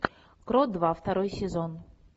крот два второй сезон